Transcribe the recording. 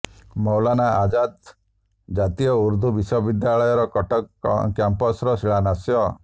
ମୌଲାନା ଆଜାଦ୍ ଜାତୀୟ ଉର୍ଦ୍ଦୁ ବିଶ୍ବବିଦ୍ୟାଳୟ କଟକ କ୍ୟାମ୍ପସ୍ ର ଶିଳାନ୍ୟାସ